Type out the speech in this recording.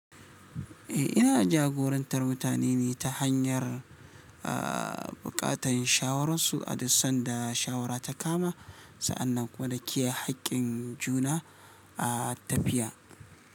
Eh, ina jagorantar mutane ne ta hanyar, aa, buƙatan shawararsu a duk sanda shawara ta kama. Sa'annan kuma da kiyaye hakkin juna a tafiya.